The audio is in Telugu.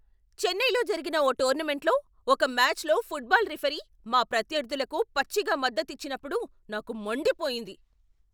చెన్నైలో జరిగిన ఓ టోర్నమెంట్లో ఒక మాచ్లో ఫుట్బాల్ రిఫరీ మా ప్రత్యర్థులకు పచ్చిగా మద్దతిచ్చినప్పుడు నాకు మండిపోయింది.